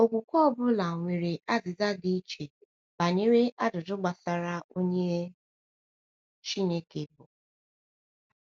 Okwukwe ọ bụla nwere azịza dị iche banyere ajụjụ gbasara onye Chineke bụ.